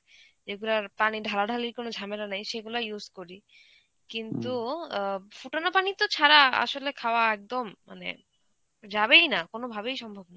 এগুলার পানি ঢালাঢালির কোন ঝামেলা নেই সেগুলো use করি কিন্তু অ্যাঁ ফোটানো পানি তো ছাড়া আসলে খাওয়া একদম মানে যাবেই না কোনোভাবেই সম্ভব না.